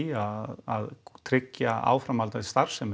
að tryggja áframhaldandi starfsemi